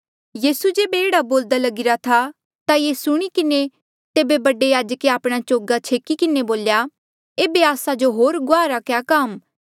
यीसू जेबे एह्ड़ा बोल्दा लगीरा था ता ये सुणी किन्हें तेबे बडे याजके आपणा चोगा छेकी किन्हें बोल्या एेबे आस्सा जो होर गुआहा रा क्या काम आ